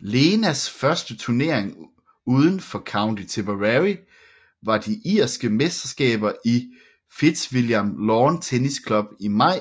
Lenas første turnering uden for County Tipperary var de irske mesterskaber i Fitzwilliam Lawn Tennis Club i maj